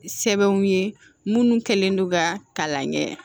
Sɛbɛnw ye minnu kɛlen don ka kalan kɛ